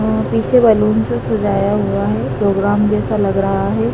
पीछे बैलून से सजाया हुआ है। प्रोग्राम जैसा लग रहा है।